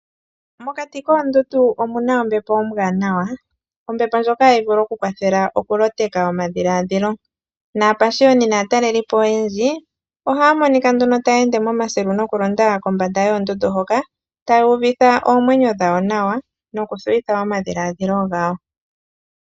Mokati koondundu omuna ombepo ombwaanawa, ombepo ndjoka hayi vulu oku kwathela oku loteka omadhilaadhilo. Naapashiyoni naatalelipo oyendji ohaya monika nduno taya ende moma silu noku londa kombanda yoondundu hoka, taya uvitha oomwenyo dhawo nawa noku thuwitha omadhiladhilo gawo.